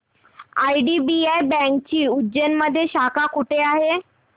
IDBI बँकेची उज्जैन मध्ये शाखा कुठे आहे